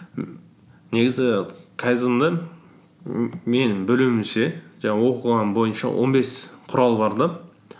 негізі кайдзенде мен білуімше жаңағы оқығаным бойынша он бес құрал бар да